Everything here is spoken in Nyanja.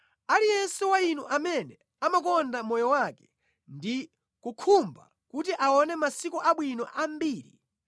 Aliyense wa inu amene amakonda moyo wake ndi kukhumba kuti aone masiku abwino ambiri,